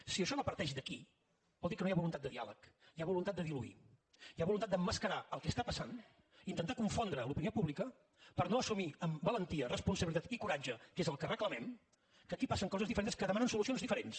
si això no parteix d’aquí vol dir que no hi ha voluntat de diàleg hi ha voluntat de diluir hi ha voluntat d’emmascarar el que està passant intentar confondre l’opinió pública per no assumir amb valentia responsabilitat i coratge que és el que reclamem que aquí passen coses diferents que demanen solucions diferents